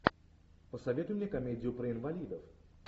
посоветуй мне комедию про инвалидов